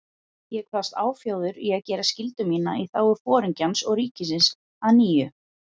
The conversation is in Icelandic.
Ég kvaðst áfjáður í að gera skyldu mína í þágu Foringjans og ríkisins að nýju.